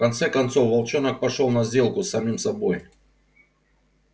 в конце концов волчонок пошёл на сделку с самим собой